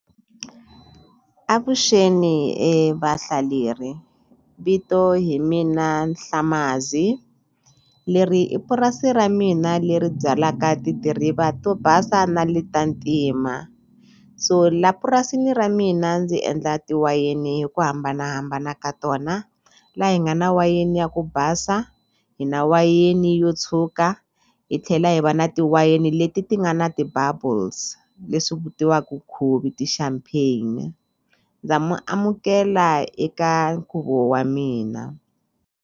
Avuxeni vahlaleri vito hi mina Nhlamazi leri i purasi ra mina leri byalaka tidiriva to basa na le ta ntima so la purasini ra mina ndzi endla tiwayini hi ku hambanahambana ka tona la hi nga na wayeni ya ku basa hi na wayeni yo tshuka hi tlhela hi va na ti wayeni leti ti nga na ti-bubbles leswi vitiwaku khuvi ti-champagne ndza mi amukela eka nkhuvo wa mina.